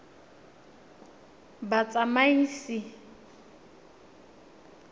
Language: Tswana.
batsamaisi